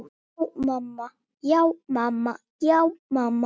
Já, mamma.